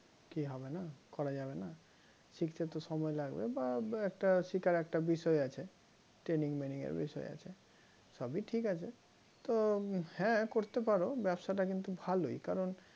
কি হবে না করা যাবে না শিখতে তো সময় লাগবে বা একটা শিখার একটা বিষয় আছে training maining এর বিষয় আছে সবই ঠিক আছে তো হ্যাঁ করতে পারো ব্যবসাটা কিন্তু ভালোই কারণ